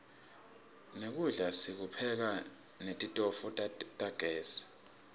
nekudla sikupheka netitofu tagezi